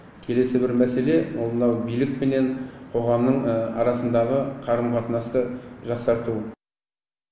келесі бір мәселе ол мынау билік пенен қоғамның арасындағы қарым қатынасты жақсарту